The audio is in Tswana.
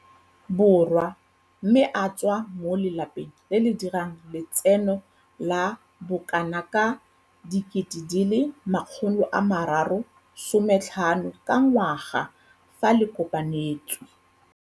Borwa mme a tswa mo lapeng le le dirang letseno la bokanaka R350 000 ka ngwaga fa le kopantswe.